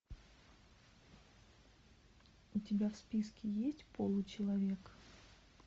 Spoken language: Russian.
у тебя в списке есть получеловек